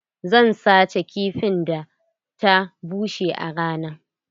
Zan sace kifin da ta busar a rana.